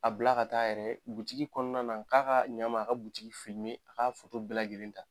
A bila ka t'a yɛrɛ ye bugutigi kɔnɔna na a k'a ka ɲama a ka butigi filime a k'a foto bɛɛ lajɛlen ta